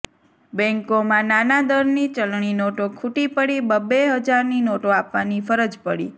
બેન્કોમાં નાના દરની ચલણીનોટો ખુટી પડી બબ્બે હજારની નોટો આપવાની ફરજ પડી